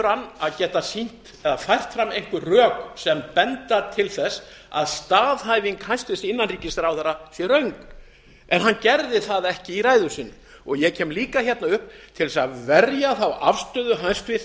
hann að geta fært fram einhver rök sem benda til þess að staðhæfing hæstvirtur innanríkisráðherra sé röng en hann gerði það ekki í ræðu sinni ég kem líka hérna upp til að verja þá afstöðu hæstvirts